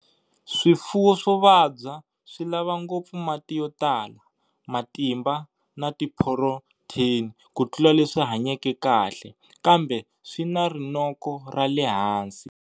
Swifuwo swo vabya swi lava ngopfu mati yo tala, matimba na tiphurotheni ku tlula leswi hanyeke kahle, kambe swi na rinoko ra le hansi.